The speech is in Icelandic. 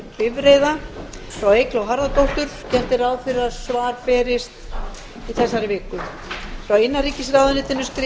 bifreiða frá eygló harðardóttur gert er ráð fyrir að svar berist í þessari viku frá innanríkisráðuneytinu